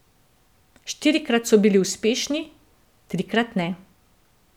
Štirikrat so bili uspešni, trikrat ne.